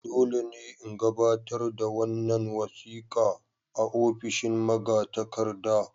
Dole ne in gabatar da wannan wasika a ofishin magatakarda.